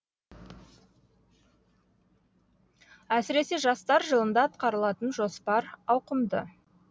әсіресе жастар жылында атқарылатын жоспар ауқымды